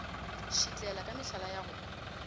šitlela ka mehlala ya go